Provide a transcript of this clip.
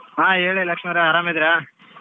ಹಾ ಹೇಳಿ ಲಕ್ಷ್ಮಿ ಅವರೇ ಆರಾಮಿದ್ದೀರಾ?